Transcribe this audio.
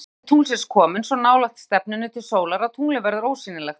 Þá er stefnan til tungls komin svo nálægt stefnunni til sólar að tunglið verður ósýnilegt.